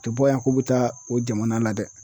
U te bɔ yan k'u be taa o jamana la dɛ